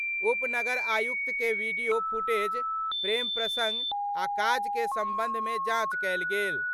उप नगर आयुक्त के वीडियो फुटेज, प्रेम प्रसंग आ काज के संबंध मे जांच कायल गेल।